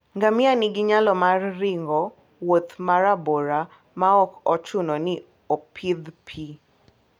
Ngamia nigi nyalo mar ringo wuoth ma rabora maok ochuno ni opidh pi.